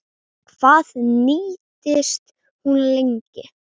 Hvað nýtist hún lengi?